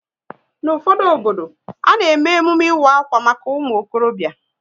N'ufodu obodo, a na eme emume ịwa akwa maka umuokorobia